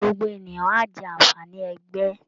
Gbogbo ènìyàn á jẹ́ àǹfààní ẹgbẹ́